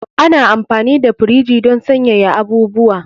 Ana amfani da firiji don sanyaya abubuwa.